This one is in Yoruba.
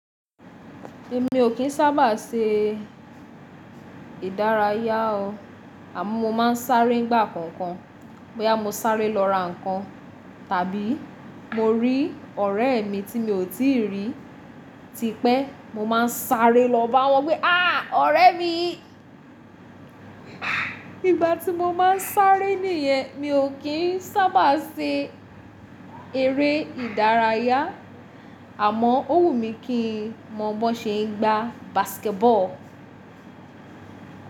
Èmi ò kín sábà se ìdárayá o, àmọ́ mo máa ń sáré ìgbà kọ̀ọ̀kan. Bóyá mo sáré lọ ra nǹkan, tàbí mo rí ọ̀rẹ́ mi tí mi ò tí rí tipẹ́, mo máa ń sáré lọ bá wọn pé "aa ọ̀rẹ́ mi". Ìgbà tí mo máa ń sáré nìyẹn, mi ò kín sábà se eré ìdárayá, àmọ́ ó wù mí kí n mọ bó ṣe ń gbá basketball.